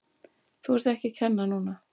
Þú ert ekki að kenna núna!